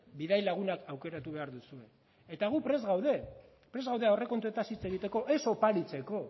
bidai laguna aukeratu behar duzue eta guk prest gaude prest gaude aurrekontuetan hitz egiteko ez oparitzeko